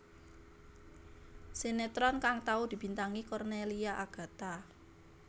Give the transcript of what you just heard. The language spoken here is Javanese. Sinetron kang tau dibintangi Cornelia Agatha